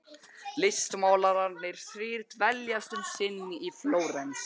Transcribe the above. Listmálararnir þrír dveljast um sinn í Flórens.